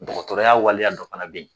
Dɔgɔtɔrɔya waleya dɔ fana bɛ yen